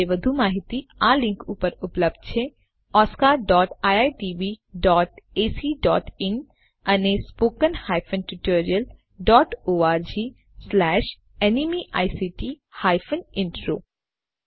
આ મિશન વિશે વધુ માહીતી આ લીંક ઉપર ઉપલબ્ધ છે oscariitbacઇન અને spoken tutorialorgnmeict ઇન્ટ્રો